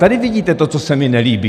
Tady vidíte to, co se mi nelíbí.